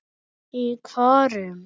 Í hvorum?